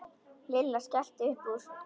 Lilla skellti upp úr.